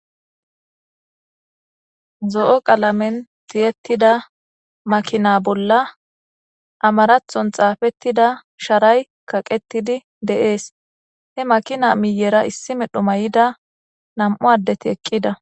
zo7o qalamen tiyettida makina bolla amarathon xaafettida sharay kaqetidi deees he makina miyera issi medho may7ida nam7u addeti eqqida